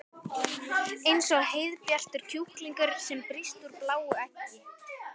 Eins og heiðbjartur kjúklingur sem brýst úr bláu eggi.